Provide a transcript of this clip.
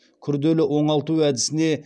күрделі оңалту әдісіне